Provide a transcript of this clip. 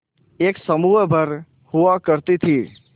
एक समूह भर हुआ करती थी